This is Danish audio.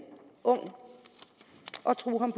ung og truet ham